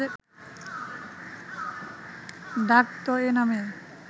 ডাকত এ নামে